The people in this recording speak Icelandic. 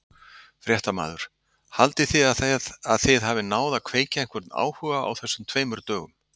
Fréttamaður: Haldið þið að þið hafið náð að kveikja einhvern áhuga á þessum tveimur dögum?